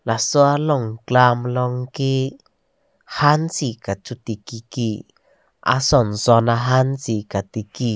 laso along klam alongke han si kachoti kiki asonson ahan si katiki.